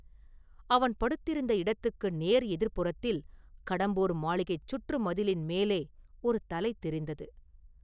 அவன் படுத்திருந்த இடத்துக்கு நேர் எதிர்ப்புறத்தில் கடம்பூர் மாளிகைச் சுற்று மதிலின் மேலே ஒரு தலை தெரிந்தது.